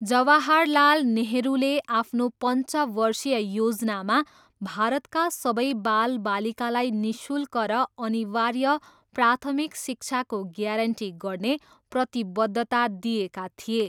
जवाहरलाल नेहरूले आफ्नो पन्चवर्षीय योजनामा भारतका सबै बालबालिकालाई निःशुल्क र अनिवार्य प्राथमिक शिक्षाको ग्यारेन्टी गर्ने प्रतिबद्धता दिएका थिए।